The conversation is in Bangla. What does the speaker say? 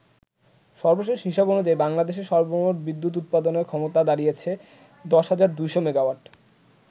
সর্বশেষ হিসেব অনুযায়ী বাংলাদেশে সর্বমোট বিদ্যুৎ উৎপাদনের ক্ষমতা দাড়িয়েছে ১০,২০০ মেগাওয়াট।